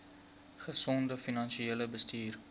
gesonde finansiële bestuur